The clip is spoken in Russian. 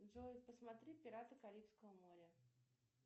джой посмотри пираты карибского моря